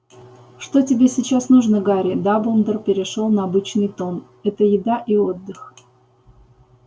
что тебе сейчас нужно гарри дамблдор перешёл на обычный тон это еда и отдых